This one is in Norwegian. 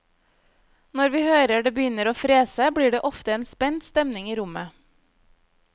Når vi hører det begynner å frese, blir det ofte en spent stemning i rommet.